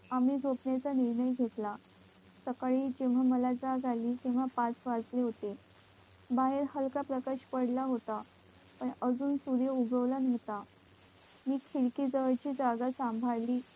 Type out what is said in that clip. आम्ही झोपण्या च निर्णय घेतला सकाळी जेव्हा तेव्हा पाच वाजले होते बाहेर हलका प्रकाश पडला होता अजून सूर्य उगवला नव्हता मी खिडकी जवळची जागा सांभाळी